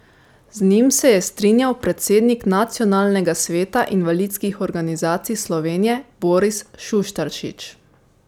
Z njim se je strinjal predsednik Nacionalnega sveta invalidskih organizacij Slovenije Boris Šuštaršič.